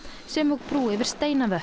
sem og brú yfir